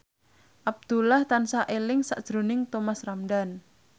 Abdullah tansah eling sakjroning Thomas Ramdhan